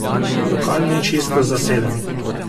Lokal ni čisto zaseden.